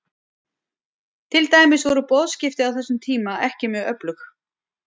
Til dæmis voru boðskipti á þessum tíma ekki mjög öflug.